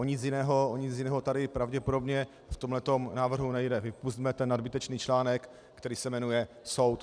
O nic jiného tady pravděpodobně v tomhle návrhu nejde: vypusťme ten nadbytečný článek, který se jmenuje soud.